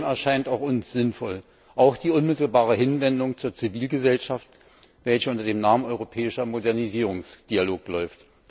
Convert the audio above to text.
Vieles von dem erscheint auch uns sinnvoll, wie etwa die unmittelbare Hinwendung zur Zivilgesellschaft, welche unter dem Namen Europäischer Modernisierungsdialog läuft.